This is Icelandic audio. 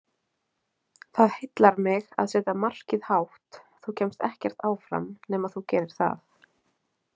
Það heillar mig að setja markið hátt, þú kemst ekkert áfram nema þú gerir það.